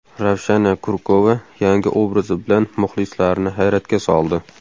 Ravshana Kurkova yangi obrazi bilan muxlislarini hayratga soldi .